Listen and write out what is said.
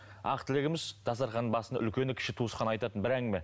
ақ тілегіміз дастарханның басында үлкені кіші туысқан айтатын бір әңгіме